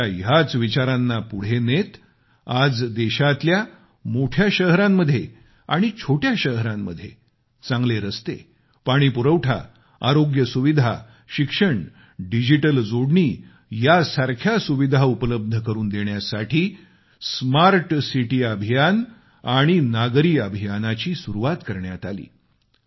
त्यांच्या ह्याच विचारांना पुढे नेत आज देशातल्या मोठ्या शहरांत आणि छोट्या शहरांत चांगले रस्ते पाणीपुरवठा आरोग्य सुविधा शिक्षण डिजिटल जोडणी या सारख्या सुविधा उपलब्ध करून देण्यासाठी स्मार्ट सिटी अभियान आणि नागरी अभियानाची सुरवात करण्यात आली